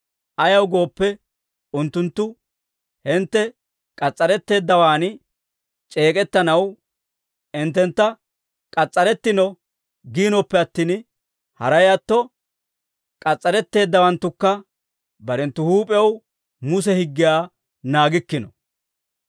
Ayaw gooppe, unttunttu hintte k'as's'aretteeddawaan c'eek'ettanaw hinttentta k'as's'arettino giinoppe attin, haray atto k'as's'aretteeddawanttukka barenttu huup'ew Muse higgiyaa naagikkino.